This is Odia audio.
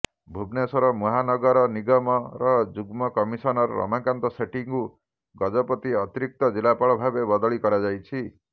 ଭୁବନେଶ୍ୱର ମହାନଗର ନିଗମର ଯୁଗ୍ମ କମିଶନର ରମାକାନ୍ତ ସେଠୀଙ୍କୁ ଗଜପତି ଅତିରିକ୍ତ ଜିଲ୍ଲାପାଳ ଭାବେ ବଦଳି କରାଯାଇଛି